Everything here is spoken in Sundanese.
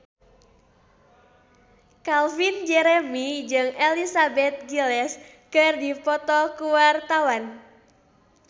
Calvin Jeremy jeung Elizabeth Gillies keur dipoto ku wartawan